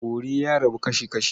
Bori ya rabu kasi-kashi.